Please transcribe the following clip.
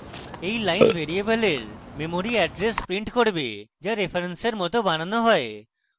এই line ভ্যারিয়েবলের memory address print করবে যা রেফারেন্সের মত বানানো হয়